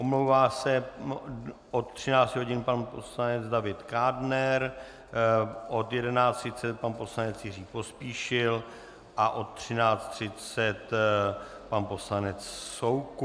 Omlouvá se od 13 hodin pan poslanec David Kádner, od 11.30 pan poslanec Jiří Pospíšil a od 13.30 pan poslanec Soukup.